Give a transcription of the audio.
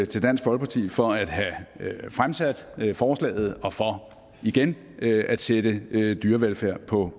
til dansk folkeparti for at have fremsat forslaget og for igen at sætte dyrevelfærd på